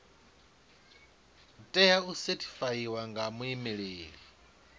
tea u sethifaiwa nga muimeli